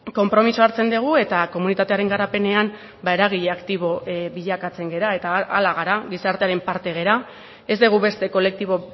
konpromisoa hartzen dugu eta komunitatearen garapenean ba eragile aktibo bilakatzen gara eta hala gara gizartearen parte gara ez dugu beste kolektibo